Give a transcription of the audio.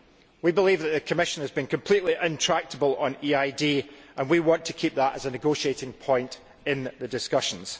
We believe that the Commission has been completely intractable on EID and we want to keep that as a negotiating point in the discussions.